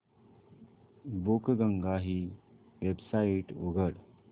बुकगंगा ही वेबसाइट उघड